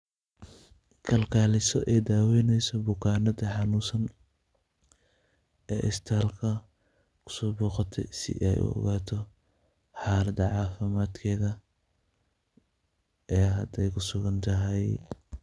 Kalkaliso ee daweyneso bukaanada xanunsaan, ee istaalka, kusoboqatee sii ee u ogato xalada cafimatketxa, ee hada ee kusugantaxay.